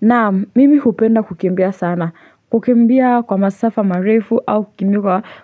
Naam mimi hupenda kukimbia sana, kukimbia kwa masafa marefu au kukimbia